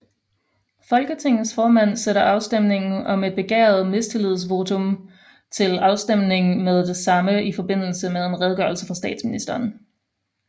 Folketingets formand sætter afstemningen om et begæret mistillidsvotum til afstemning med det samme i forbindelse med en redegørelse fra statsministeren